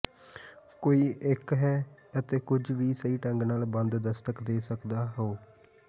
ਕੋਈ ਇੱਕ ਹੈ ਅਤੇ ਕੁਝ ਵੀ ਸਹੀ ਢੰਗ ਨਾਲ ਬੰਦ ਦਸਤਕ ਦੇ ਸਕਦੇ ਹੋ